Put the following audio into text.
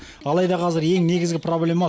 алайда қазір ең негізгі проблема